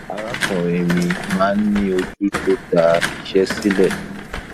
arákùnrin mi máa ń ní ojú tó da iṣẹ sílẹ